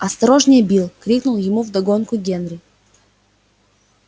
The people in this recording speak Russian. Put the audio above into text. осторожнее билл крикнул ему вдогонку генри